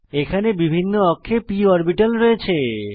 এখানে বিভিন্ন অক্ষে p অরবিটাল রয়েছে